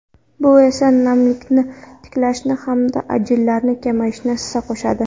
Bu esa namlikni tiklanishi hamda ajinlar kamayishiga hissa qo‘shadi.